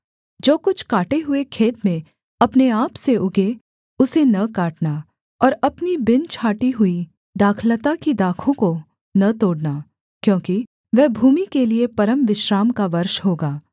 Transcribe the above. जो कुछ काटे हुए खेत में अपने आप से उगें उसे न काटना और अपनी बिन छाँटी हुई दाखलता की दाखों को न तोड़ना क्योंकि वह भूमि के लिये परमविश्राम का वर्ष होगा